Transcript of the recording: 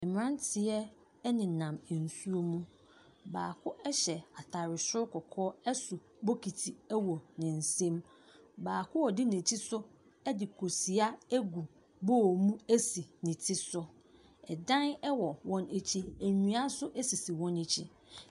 Mbrantseɛ ɛneenam nsuo ho baako ɛhyɛ ataade sro kɔkɔɔ ɛso bokiti wɔ ne nsam baako odi nekyi nso ɛde kosua egu bool mu esi ne ti so ɛdan ɛwɔ wɔn ekyi ndua so sisi wɔn ekyi.